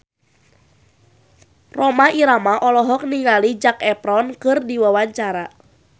Rhoma Irama olohok ningali Zac Efron keur diwawancara